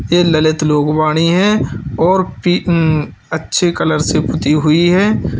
यह ललित लोकवाणी है और पी उम्म अच्छे कलर से पुती हुई है।